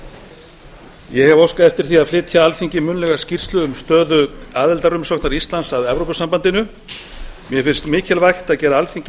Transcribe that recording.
ég hef óskað eftir því að flytja alþingi munnlega skýrslu um stöðu aðildarumsóknar íslands að evrópusambandinu mér finnst mikilvægt að gera alþingi